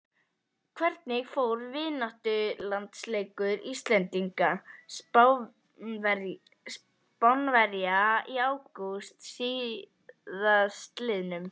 Hvernig fór vináttulandsleikur Íslendinga og Spánverja í ágúst síðastliðnum?